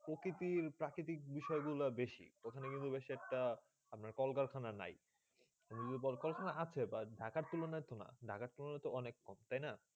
প্রকৃতি প্রাকৃতিক বিষয়ে গুলু বেশি ওখানে বেশি একটা কলকরখানা নেই কলকরখানা কিন্তু ঢাকা তুলনা তো না ঢাকা তুলনা অনেক কম